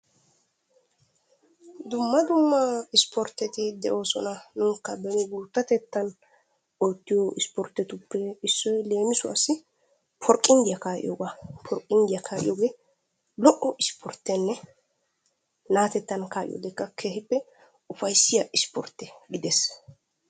Dumma dumma isporteti de"oosona. Nuukka beni guuttatetan oottiyo isportetuppe issoy leemisuwaassi porqqindiya kaa"iyoogaa. Porqqinddiya kaa"iyoogee lo"o isportenne na'atettan kaa"iyoodekka keehippe ufayissiya isportte gidees.